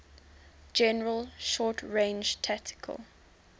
general short range tactical